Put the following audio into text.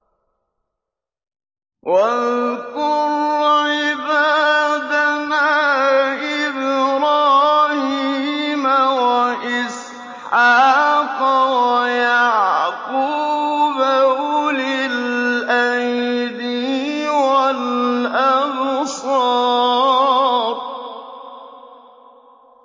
وَاذْكُرْ عِبَادَنَا إِبْرَاهِيمَ وَإِسْحَاقَ وَيَعْقُوبَ أُولِي الْأَيْدِي وَالْأَبْصَارِ